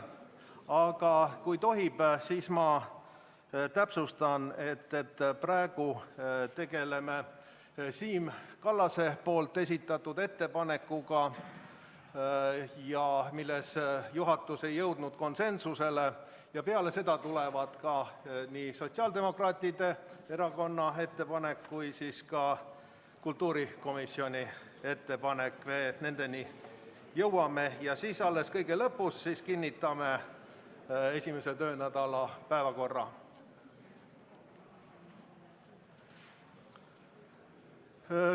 Aga kui tohib, siis ma täpsustan, et praegu tegeleme Siim Kallase esitatud ettepanekuga, mille suhtes juhatus ei jõudnud konsensusele, ja peale seda tulevad nii sotsiaaldemokraatide erakonna ettepanek kui ka kultuurikomisjoni ettepanek, nendeni jõuame, ning alles kõige lõpus kinnitame esimese töönädala päevakorra.